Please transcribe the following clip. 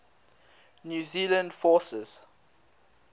new zealand forces